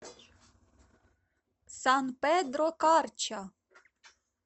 сан педро карча